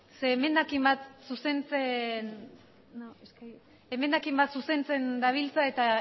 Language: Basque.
se hemen akimat zuzenzen no es que hemen akimat zuzenzen dabiltza eta